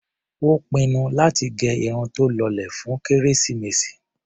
Ó pinnu láti gẹ irun tó lọlẹ̀ fún kérésìmesì.